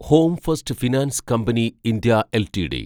home first finance company India LTD